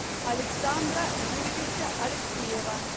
александра юрьевича алексеева